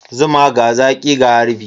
Zuma, ga zaƙi ga harbi.